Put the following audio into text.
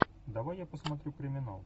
давай я посмотрю криминал